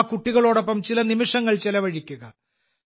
ആ കുട്ടികളോടൊപ്പം ചില നിമിഷങ്ങൾ ചിലവഴിക്കുക